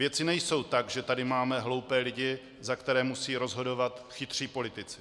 Věci nejsou tak, že tady máme hloupé lidi, za které musí rozhodovat chytří politici.